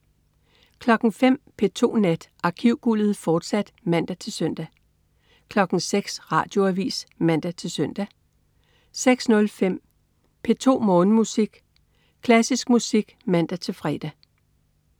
05.00 P2 Nat. Arkivguldet, fortsat (man-søn) 06.00 Radioavis (man-søn) 06.05 P2 Morgenmusik. Klassisk musik (man-fre)